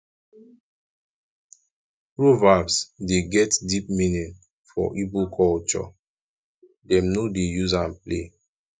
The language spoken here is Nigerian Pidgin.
proverbs dey get deep meaning for igbo culture dem no dey use am play